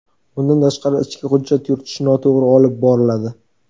Bundan tashqari, ichki hujjat yuritish noto‘g‘ri olib boriladi.